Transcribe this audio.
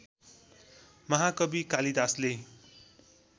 महाकवि कालिदासले